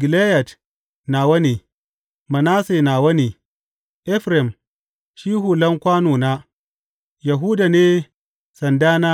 Gileyad nawa ne, Manasse nawa ne; Efraim shi hulan kwanona, Yahuda ne sandana